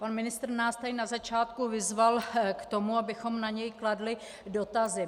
Pan ministr nás tady na začátku vyzval k tomu, abychom na něj kladli dotazy.